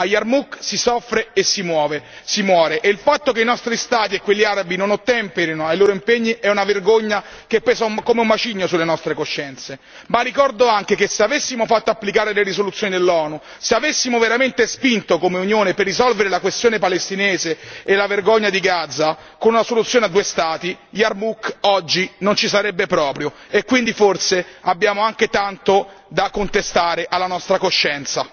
A Yarmouk si soffre e si muore e il fatto che i nostri Stati e quelli arabi non ottemperino ai loro impegni è una vergogna che pesa come un macigno sulle nostre coscienze, ma ricordo anche che se avessimo fatto applicare le risoluzioni dell'ONU, se avessimo veramente spinto come Unione per risolvere la questione palestinese e la vergogna di Gaza con una soluzione a due Stati, Yarmouk oggi non ci sarebbe proprio e quindi forse abbiamo anche tanto da contestare alla nostra coscienza.